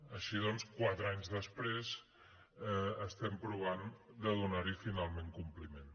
així doncs quatre anys després estem provant de donar hi finalment compliment